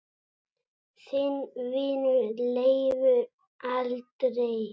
Þinn vinur, Leifur Andri.